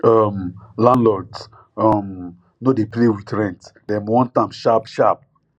um landlords um no dey play with rent dem want am sharp sharp